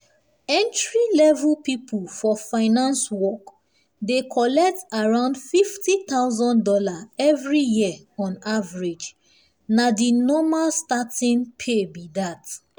entry-level people for finance work dey collect around fifty thousand dollars every year on average—na the normal starting starting pay be that.